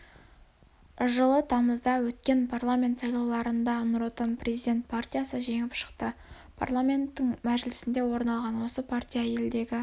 жылы тамызда өткен парламент сайлауларында нұр отан президент партиясы жеңіп шықты парламентінің мжілісінде орын алған осы партия елдегі